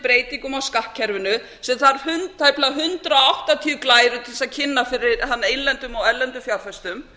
breytingum á skattkerfinu sem þarf tæplega hundrað áttatíu glærur til að kynna fyrir innlendum og erlendum fjárfestum